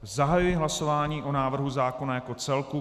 Zahajuji hlasování o návrhu zákona jako celku.